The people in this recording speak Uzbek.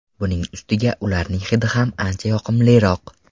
Buning ustiga ularning hidi ham ancha yoqimliroq!